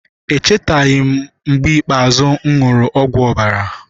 Echetaghị m mgbe ikpeazụ m ṅụrụ ọgwụ ọbara.